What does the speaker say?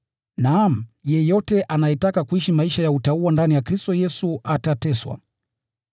Naam, yeyote anayetaka kuishi maisha ya utauwa ndani ya Kristo Yesu atateswa.